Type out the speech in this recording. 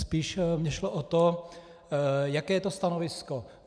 Spíš mi šlo o to, jaké je to stanovisko.